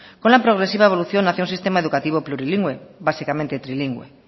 con la progresiva evolución hacía un sistema educativo plurilingüe básicamente trilingüe